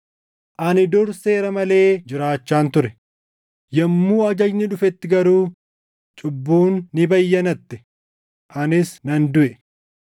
Ani dur seera malee jiraachaan ture; yommuu ajajni dhufetti garuu cubbuun ni bayyanatte; anis nan duʼe.